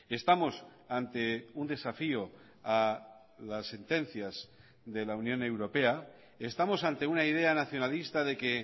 estamos ante un desafío a las sentencias de la unión europea estamos ante una idea nacionalista de que